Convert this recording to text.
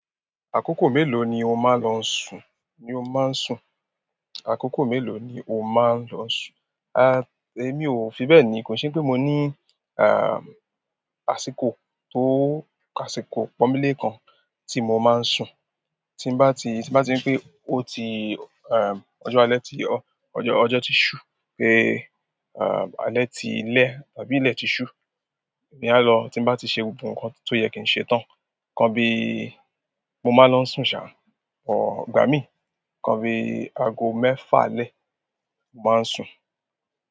Àkókò mélòó ni o máa ń lọ sùn? Ni o máa ń sùn. Àkókò mélòó ni o máa ń lọ sùn? A, èmi ò fi bẹ́ẹ̀ ni. Kò sí pé mo ní, a, àsìkò tó, àsìkò pọmíle kan tí mo máa ń sùn. Tí bá ti, tí bá ti pé ó ti, e, ọjọ́ alẹ́ ti ọ́, ọjọ́, ọjọ́ ti ṣú, pé, a, alẹ́ ti lẹ́ tàbí ilẹ̀ ti ṣú, èmi á lọ. Tí bá ti ṣe gbogbo nǹkan tó yẹ kí n ṣe tán, kan bí i mo máa ń lọ sùn, sà. Bọ ìgbà mi ikan bí i ago mẹ́fà alẹ́, mo máa ń sùn.